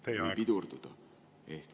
Teie aeg!